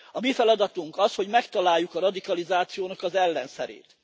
A mi feladatunk az, hogy megtaláljuk a radikalizációnak az ellenszerét.